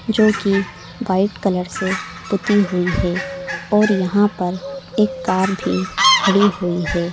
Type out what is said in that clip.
जो की white colour से पुती हुई है और यहाँ पर एक कार भी खड़ी हुई है।